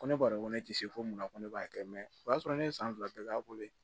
Ko ne b'a dɔn ko ne tɛ se fɔ mun ma ko ne b'a kɛ mɛ o y'a sɔrɔ ne ye san fila bɛɛ k'a bolo yen